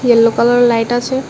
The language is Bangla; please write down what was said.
ইয়েলো কালারের লাইট আছে।